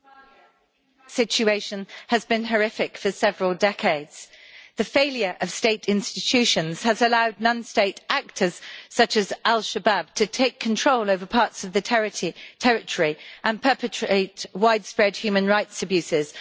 Mr President, the situation in Somalia has been horrific for several decades. The failure of state institutions has allowed non state actors such as al-Shabaab to take control over parts of the territory and perpetrate widespread human rights abuses.